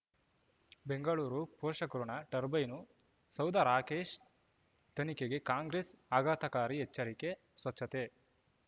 ಬೆಂಗಳೂರು ಪೋಷಕರಋಣ ಟರ್ಬೈನು ಸೌಧ ರಾಕೇಶ್ ತನಿಖೆಗೆ ಕಾಂಗ್ರೆಸ್ ಆಘಾತಕಾರಿ ಎಚ್ಚರಿಕೆ ಸ್ವಚ್ಛತೆ